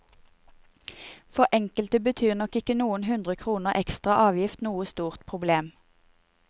For enkelte betyr nok ikke noen hundre kroner ekstra avgift noe stort problem.